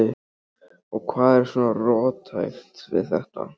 Og hvað er svona róttækt við þetta?